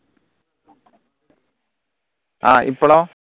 ആഹ് ഇപ്പളോ